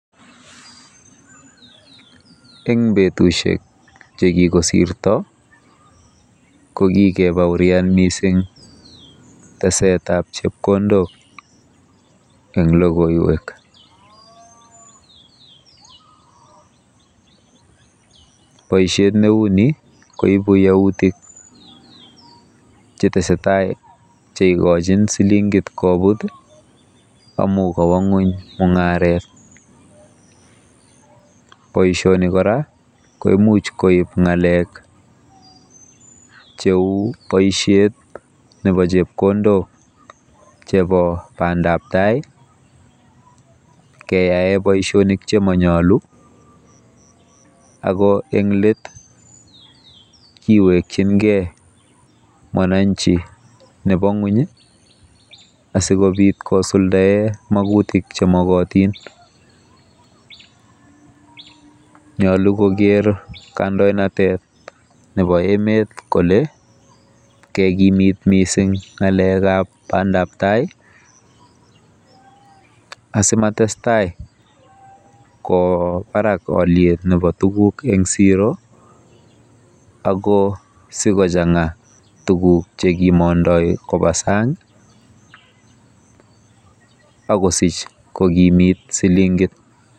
Eng betusiek chekikosirto kokikebaorian mising tesetab chepkondok eng logoiwek. Boisiet neuni koibu yautik chetesetai cheikochin silingit kobut amu kowo ng'ony mung'aret. Boisiet neuni kora koimuch koib ng'alek cheu boisetab chepkondok chebo bandabtai keyae boisionik chemanyolu ako eng let kiwekchingei mwananchi nebo ng'ony asikobit kosuldae magutik chemokotin. Nyolu koker kandoinatet nebo emet kole kekimit mising ng'alekab bandabtai asimatestai kowo barak oliet nebo tuguk eng siro ako sikochang'a tuguk chekimondoi koba sang akosich kokimit silingit.